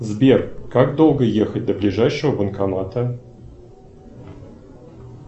сбер как долго ехать до ближайшего банкомата